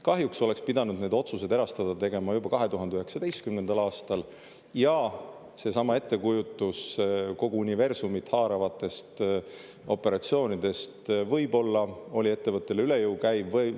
Kahjuks oleks pidanud otsuse erastada tegema juba 2019. aastal ja seesama ettekujutus kogu universumit haaravatest operatsioonidest võib-olla oli ettevõttele üle jõu käiv.